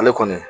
Ale kɔni